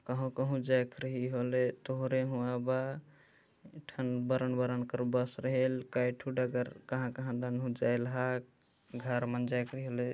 कहू-कहू जायक रही हौले तोहरे हुआ बा ठन बरन-बरन करे बस रहेल काय ठो डगर कहाँ-कहाँ तनहू जाइलह घर मा जाइक रेहल--